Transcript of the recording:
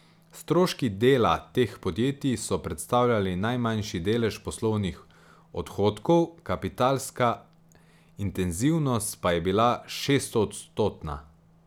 Stroški dela teh podjetij so predstavljali najmanjši delež poslovnih odhodkov, kapitalska intenzivnost pa je bila šestodstotna.